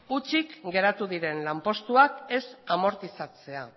hutsik geratu diren lanpostuak ez amortizatzea